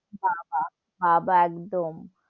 বা বা, বা বা একদম,